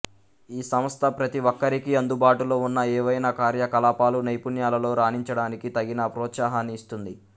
ఈ సంస్థ ప్రతి ఒక్కరికీ అందుబాటులో ఉన్న ఏవైనా కార్యకలాపాలు నైపుణ్యాలలో రాణించడానికి తగిన ప్రోత్సాహాన్ని ఇస్తుంది